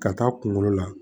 Ka taa kungolo la